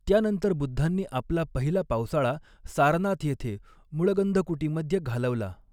त्यानंतर बुद्धांनी आपला पहिला पावसाळा सारनाथ येथे मुळगंधकुटीमध्ये घालवला.